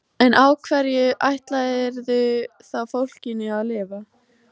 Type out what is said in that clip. En á hverju ætlarðu þá fólkinu að lifa?